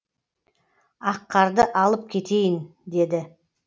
аққарды алып кетейін деді